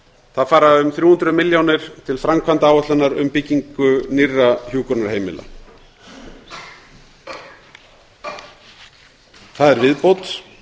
það fara um þrjú hundruð milljónir til framkvæmdaáætlunar um byggingu nýrra hjúkrunarheimila það er viðbót